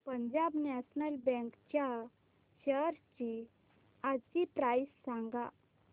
Punjab national bank च्या shares आजची price सांगा